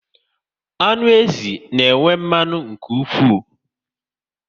Anụ ezi na enwe mmanụ nke ụkwụ